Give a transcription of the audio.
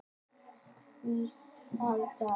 Hvítárdal